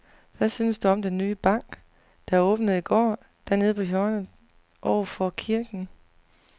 Hvad synes du om den nye bank, der åbnede i går dernede på hjørnet over for kirken?